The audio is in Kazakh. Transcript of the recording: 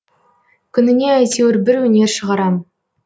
күніне әйтеуір бір өнер шығарам